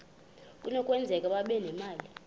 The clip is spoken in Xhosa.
kunokwenzeka babe nemali